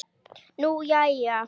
Nú, jæja?